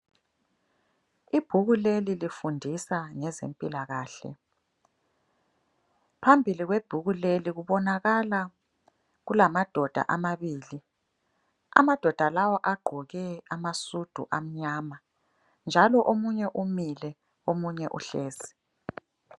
Ibhuku leli lifundisa ngeze mpilakahle. Phambili kwebhuku leli kubonakala kulamadoda amabili ,amadoa lawa agqoke amasudu amnyama. Njalo omunye umile, omunye uhlezi.